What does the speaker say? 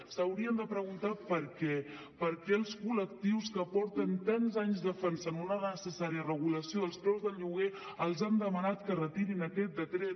s’haurien de preguntar per què per què els col·lectius que porten tants anys defensant una necessària regulació dels preus del lloguer els han demanat que retirin aquest decret